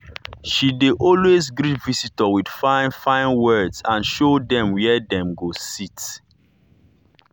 she dey always greet visitor with fine fine words and show dem where dem go sit.